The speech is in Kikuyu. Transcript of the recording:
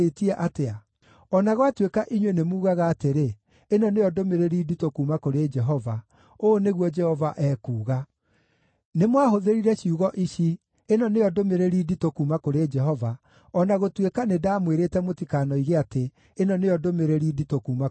O na gwatuĩka inyuĩ nĩmugaga atĩrĩ, ‘Ĩno nĩyo ndũmĩrĩri nditũ kuuma kũrĩ Jehova,’ ũũ nĩguo Jehova ekuuga: Nĩmwahũthĩrire ciugo ici, ‘Ĩno nĩyo ndũmĩrĩri nditũ kuuma kũrĩ Jehova,’ o na gũtuĩka nĩndamwĩrĩte mũtikanoige atĩ ‘Ĩno nĩyo ndũmĩrĩri nditũ kuuma kũrĩ Jehova.’